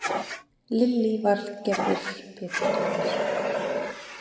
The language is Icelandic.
Lillý Valgerður Pétursdóttir: Gátu þeir eitthvað séð hvenær þetta hafði rifnað?